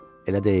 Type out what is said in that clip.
Elə deyil?